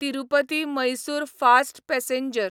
Tirupati Mysore fast passenger